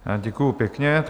Děkuji pěkně.